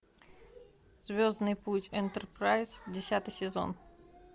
звездный путь энтерпрайз десятый сезон